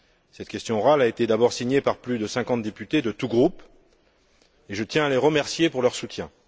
Cette question orale a été d'abord signée par plus de 50 députés de tous groupes et je tiens à les remercier pour leur soutien.